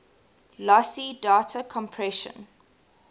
lossy data compression